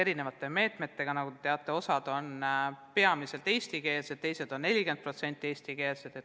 Nagu te teate, on osa klasse peamiselt eestikeelsed, teised on 40% eestikeelsed.